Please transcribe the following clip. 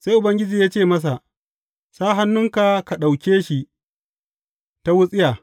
Sai Ubangiji ya ce masa, Sa hannunka ka ɗauke shi ta wutsiya.